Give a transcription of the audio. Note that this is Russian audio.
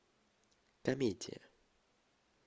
комедия